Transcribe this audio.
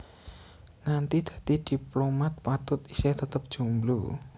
Nganti dadi diplomat Patut isih tetep jomblo